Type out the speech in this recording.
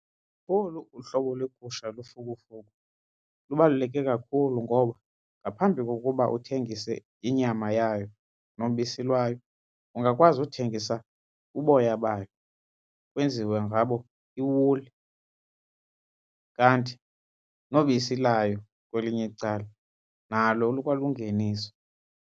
Olu uhlobo legusha lufukufuku lubaluleke kakhulu ngoba ngaphambi kokuba uthengise inyama yayo nobisi lwayo ungakwazi uthengisa uboya bayo kwenziwe ngabo iwuli, kanti nobisi layo kwelinye icala nalo lukwalungeniso.